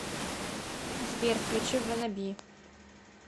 сбер включи ванаби